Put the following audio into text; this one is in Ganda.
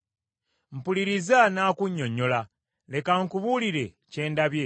“Mpuliriza nnaakunnyonnyola, leka nkubuulire kye ndabye: